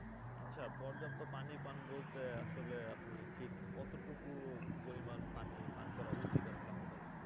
আচ্ছা পর্যাপ্ত পানি পান বলতে আসলে আপনি ঠিক কতটুকু পরিমান পানি পান করা উচিত আসলে আমাদের?